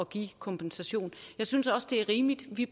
give kompensation jeg synes også det er rimeligt at vi